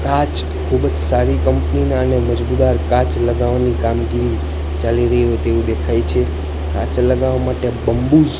કાંચ ખુબજ સારી કંપની ના અને મજબૂદાર કાંચ લગાવાની કામગીરી ચાલી રહી હોય તેવું દેખાય છે કાંચ લગાવા માટે બંબૂસ--